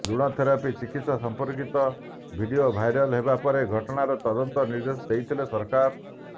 ଲୁଣ ଥେରାପି ଚିକିତ୍ସା ସମ୍ପର୍କିତ ଭିଡ଼ିଓ ଭାଇରାଲ ହେବା ପରେ ଘଟଣାର ତଦନ୍ତ ନିର୍ଦ୍ଦେଶ ଦେଇଥିଲେ ସରକାର